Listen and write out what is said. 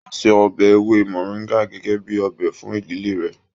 O se ọbẹ ewé moringa gẹgẹ bíi ọbẹ fún ìdílé rẹ.